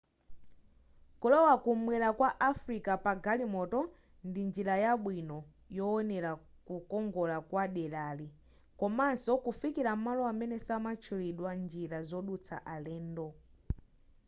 kulowa kumwera kwa africa pa galimoto ndi njira yabwino yoonera kukongora kwa derali komanso kufikila malo amene samatchulidwa njira zodutsa alendo